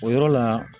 O yɔrɔ la